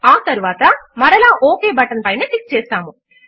ఆ తరువాత మరలా ఒక్ బటన్ పైన క్లిక్ చేస్తాము